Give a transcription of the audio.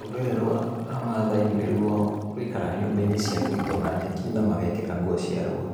Rũrĩrĩ rwa mathai nĩ ruo rwĩikaraga nyũmba-inĩ cia kũgitwo na nyeki na magekĩra nguo cia rũa,